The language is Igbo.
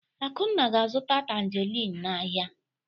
Akunna ga-azụta tanjerịn n'ahịa.